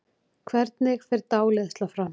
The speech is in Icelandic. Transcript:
Hvernig fer dáleiðsla fram?